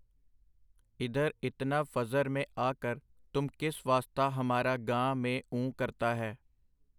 ਇਧਰ ਇਤਨਾ ਫਜਰ ਮੇਂ ਆ ਕਰ ਤੁਮ ਕਿਸ ਵਾਸਤਾ ਹਮਾਰਾ ਗਾਂ...ਮੇਂ...ਉਂ...ਕਰਤਾ ਹੈ?.